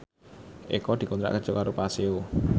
Eko dikontrak kerja karo Paseo